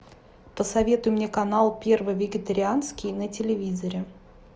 посоветуй мне канал первый вегетарианский на телевизоре